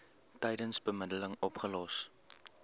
tydens bemiddeling opgelos